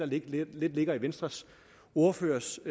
lidt ligger i venstres ordførers